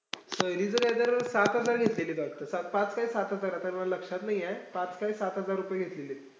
सहलीचं काईतर सात हजार घेतलेली वाटतं. सात पाच काय सात हजार हजार ए, सर्व लक्षात नाईये, पाच काय सात हजार घेतलेलीत.